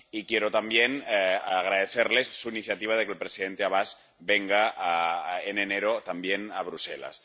Y quiero también agradecerle su iniciativa de que el presidente Abás venga en enero también a Bruselas.